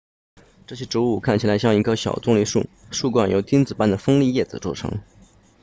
这些植物看起来像一棵小棕榈树树冠由钉子般的锋利叶子组成